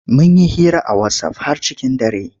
Mun yi hira a wasaf har cikin dare.